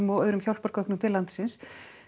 og hjálpargögnum til landsins